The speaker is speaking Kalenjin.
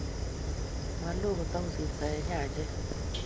malo kotokosirtoi eng' nyanjet.